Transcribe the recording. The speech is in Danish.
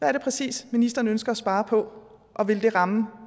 er det præcist ministeren ønsker at spare på og vil det ramme